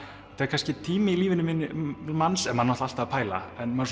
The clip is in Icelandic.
kannski tími í lífi manns maður er náttúrulega alltaf að pæla en maður